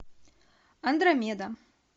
андромеда